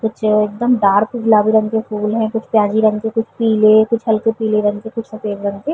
कुछ एकदम डार्क गुलाबी रंग के फूल है कुछ प्याजी रंग के कुछ पीले कुछ हल्के पिले रंग के कुछ सफ़ेद रंग के --